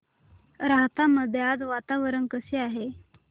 राहता मध्ये आज वातावरण कसे आहे